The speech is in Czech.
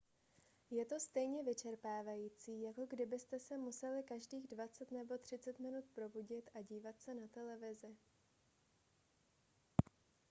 je to stejně vyčerpávající jako kdybyste se museli každých dvacet nebo třicet minut probudit a dívat se na televizi